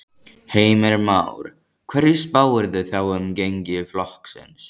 Heimir Már: Hverju spáirðu þá um gengi flokksins?